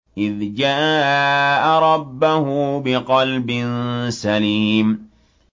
إِذْ جَاءَ رَبَّهُ بِقَلْبٍ سَلِيمٍ